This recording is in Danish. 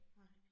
Nej